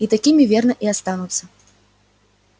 и такими верно и останутся